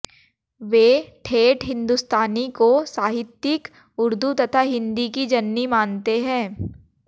वे ठेठ हिंदुस्तानी को साहित्यिक उर्दू तथा हिंदी की जननी मानते हैं